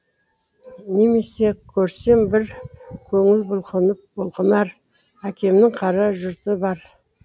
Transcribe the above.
немесе көрсем бір көңіл бұлқынар әкемнің қара жұрты бар